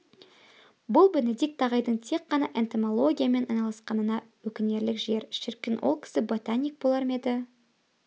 бұл бенедикт ағайдың тек қана энтомологиямен айналысқанына өкінерлік жер шіркін ол кісі ботаник болар ма еді